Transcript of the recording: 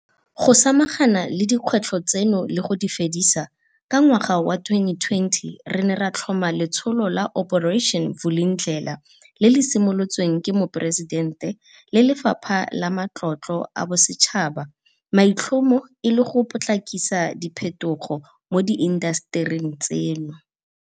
Go samagana le dikgwetlho tseno le go di fedisa, ka ngwaga wa 2020 re ne ra tlhoma letsholo la Operation Vulindlela le le simolotsweng ke Moporesitente le Lefapha la Matlotlo a Bosetšhaba maitlhomo e le go potlakisa diphetogo mo diintasetering tseno.